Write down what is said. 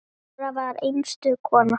Dóra var einstök kona.